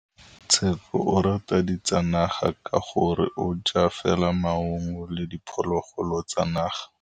Tshekô o rata ditsanaga ka gore o ja fela maungo le diphologolo tsa naga.